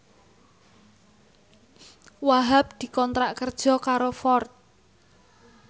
Wahhab dikontrak kerja karo Ford